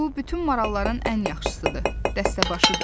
Bu bütün maralların ən yaxşısıdır, dəstəbaşıdır.